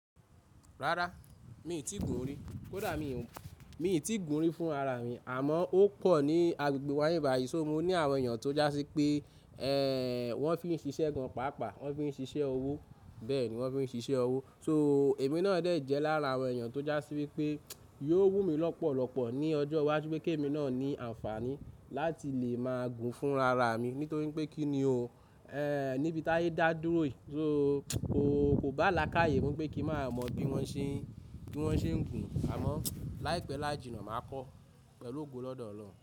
Rárá mi ò tíì gùn rí, kódà mi ò, mi ò tí ì gùn rí fún ara mi àmọ́ ó pọ̀ ní agbègbè wa nbi bayìí, so mo ní àwọn èèyàn tó já sí pé, ẹ́ẹ́, wọ́n fi n ṣiṣẹ́ gan pàápàá, wọ́n fi n ṣiṣẹ́ ọwọ́ bẹ́ẹ̀ ni wọ́n fi n ṣiṣẹ́ ọwọ́. So èmi náà dẹ̀ yí jẹ lára àwọn èèyàn tó já sí wípé yóò wú mi lọ́pọ̀lọpọ̀ ní ọjọ́ wáju, pe kí èmi náà ní àǹfààní láti lè máa gùn fún ara mi nítorí pé kí ni o, ẹ́ẹ́, níbi táyé dá dúró yìí, so kò, kò bá à lákaàyè mọ pé kí máa mọ bí wọ́n ṣe, bí wọ́n ṣe ń gùn àmọ́ láìpẹ́ láàjì náà màá kọ́ pẹ̀lú ògo lọ́dọ̀ ọ̀lọ́.